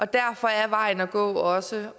derfor er vejen at gå også